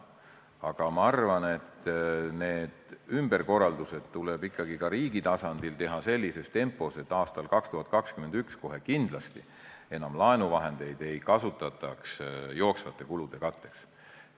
Aga ma arvan, et need ümberkorraldused tuleb ikkagi ka riigi tasandil teha sellises tempos, et aastal 2021 kohe kindlasti enam laenuvahendeid ei kasutataks jooksvate kulude katteks.